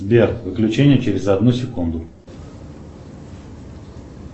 сбер выключение через одну секунду